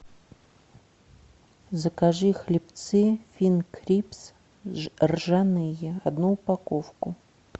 закажи хлебцы финкрипс ржаные одну упаковку